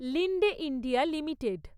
Linde India limited